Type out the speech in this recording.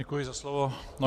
Děkuji za slovo.